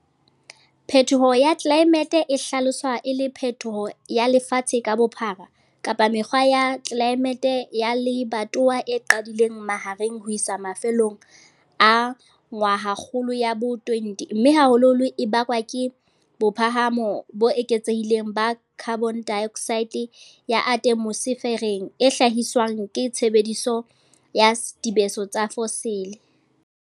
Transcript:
Phetoho ya tlelaemete e hlaloswa e le phetoho ya lefatshe ka bophara kapa mekgwa ya tlelaemete ya lebatowa e qadileng mahareng ho isa mafellong a ngwahakgolo ya bo20 mme haholoholo e bakwa ke bophahamo bo eketsehileng ba khabonedaeoksaete ya ate mosefereng e hlahiswang ke tshebediso ya dibeso tsa fosile.